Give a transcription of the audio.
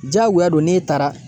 Jagoya don n'e taara